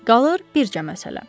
Qalır bircə məsələ.